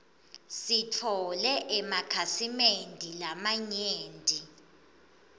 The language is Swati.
sitfole emakhasimende lamanyenti